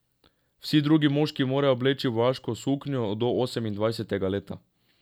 Vsi drugi moški morajo obleči vojaško suknjo do osemindvajsetega leta.